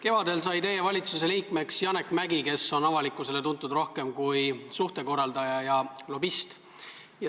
Kevadel sai teie valitsuse liikmeks Janek Mäggi, kes on avalikkusele rohkem tuntud kui suhtekorraldaja ja lobist.